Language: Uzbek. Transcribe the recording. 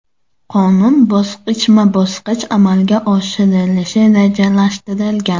Qonun bosqichma-bosqich amalga oshirilishi rejalashtirilgan.